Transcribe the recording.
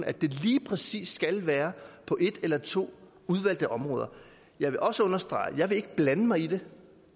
at det lige præcis skal være på et eller to udvalgte områder jeg vil også understrege at jeg ikke vil blande mig i det